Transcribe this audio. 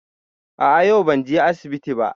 A'a yau ban je asibiti ba